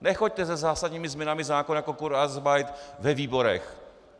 Nechoďte se zásadními změnami zákona jako kurzarbeit ve výborech.